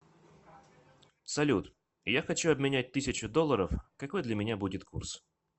салют я хочу обменять тысячу долларов какой для меня будет курс